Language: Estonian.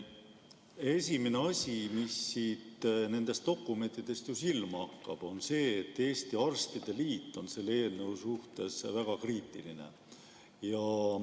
Esimene asi, mis nendest dokumentidest silma hakkab, on see, et Eesti Arstide Liit on selle eelnõu suhtes väga kriitiline.